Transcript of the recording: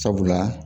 Sabula